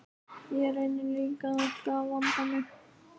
Ég reyni líka alltaf að vanda mig.